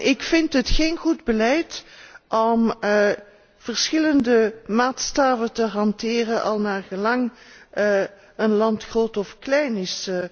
Ik vind het geen goed beleid om verschillende maatstaven te hanteren al naar gelang een land groot of klein is.